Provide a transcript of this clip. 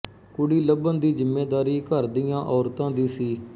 ਕੁੜੀ ਲਭਣ ਦੀ ਜ਼ਿੰਮੇਦਾਰੀ ਘਰ ਦੀਆਂ ਔਰਤਾਂ ਦੀ ਸੀ